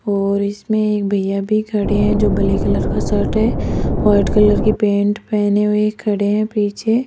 और इसमें एक भैया भी खड़े हैं जो ब्लैक कलर का शर्ट है वाइट कलर की पैंट पहने हुए खड़े हैं पीछे --